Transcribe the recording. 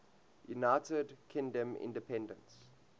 united kingdom independence